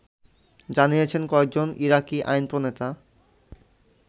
জানিয়েছেন কয়েকজন ইরাকি আইনপ্রণেতা